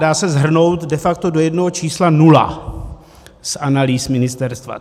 Dá se shrnout de facto do jednoho čísla: nula, z analýz ministerstva.